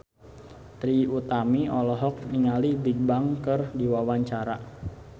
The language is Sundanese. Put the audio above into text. Trie Utami olohok ningali Bigbang keur diwawancara